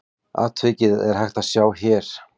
Atvikið er hægt að sjá hér.